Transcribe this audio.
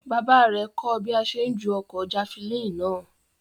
Bàbá rẹ̀ kọ́ ọ bí a ṣe ń ju ọ̀kọ̀ jafilini náà